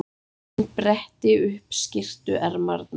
Hann bretti upp skyrtuermarnar.